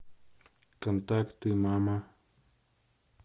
контакты мама